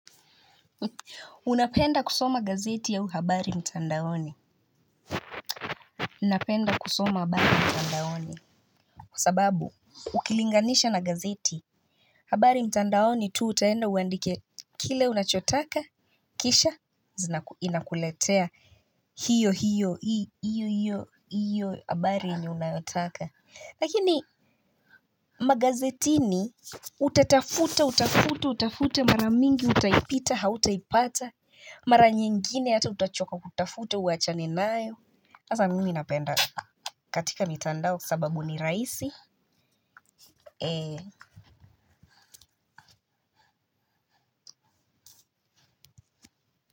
Unapenda kusoma gazeti au habari mtandaoni napenda kusoma habari mtandaoni kwa sababu ukilinganisha na gazeti habari mtandaoni tu utaenda uandike kile unachotaka kisha inakuletea hiyo hiyo hiyo hiyo habari unayotaka lakini magazetini utatafuta utafute utafute mara mingi utaipita hautaipata mara nyingine hata utachoka kutafuta uwachane nayo sasa mimi napenda katika mitandao sababu ni rahisi.